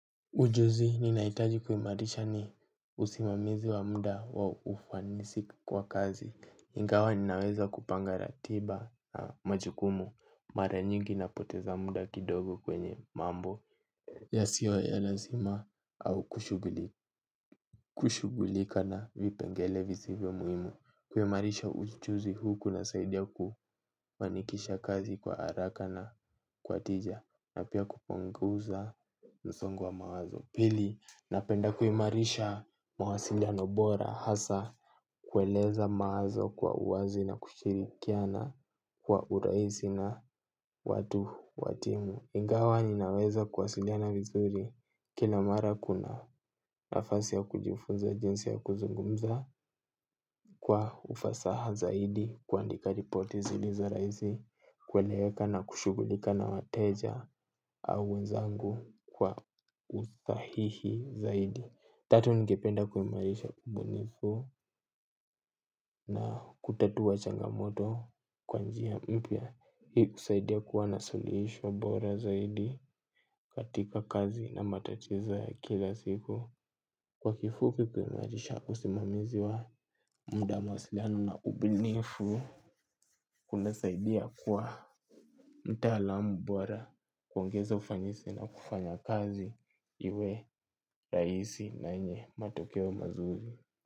Ujuzi ninaitaji kumarisha ni usimamizi wa muda wa ufanisi kwa kazi. Ingawa ninaweza kupanga ratiba na majukumu, mara nyingi napoteza muda kidogo kwenye mambo. Yasiyo ya lazima au kushughulika na vipengele vizivyo muhimu. Kuimarisha ujuzi hu kunasaidia kufanikisha kazi kwa haraka na kwa tija na pia kupunguza msongo wa mawazo. Napenda kuimarisha mawasiliano bora hasa kueleza mawazo kwa uwazi na kushirikiana kwa urahisi na watu wa timu. Ingawa ninaweza kuwasiliana vizuri, kila mara kuna nafasi ya kujifunza jinsi ya kuzungumza kwa ufasaha zaidi, kuandika ripoti zilizo rahis, i kueleweka na kushughulika na wateja au wenzangu kwa usahihi zaidi. Tatu, ningependa kuimarisha ubunifu na kutatua changamoto kwa njia mpya. Hii kusaidia kuwa na suluhisho bora zaidi katika kazi na matatizo ya kila siku. Kwa kifuou kuimarisha usimamizi wa muda wa mawasiliano na ubunifu kunasaidia kuwa mtaalamu bora kuongeza ufanisi na kufanya kazi iwe rahisi na yenye matokeo mazuri.